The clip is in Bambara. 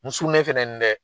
N sunnen fɛnɛ nin dɛ